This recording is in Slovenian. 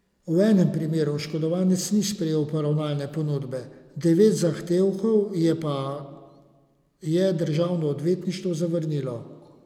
V enem primeru oškodovanec ni sprejel poravnalne ponudbe, devet zahtevkov je pa je državno odvetništvo zavrnilo.